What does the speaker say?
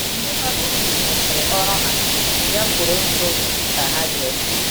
Ndị nọ n’ubi kwụsịrị ọrụ ha, bịakwuru nso ka ha gee ntị.